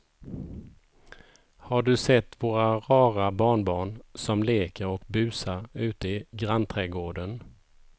Har du sett våra rara barnbarn som leker och busar ute i grannträdgården!